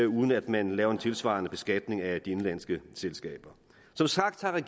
uden at man laver en tilsvarende beskatning af de indenlandske selskaber som sagt har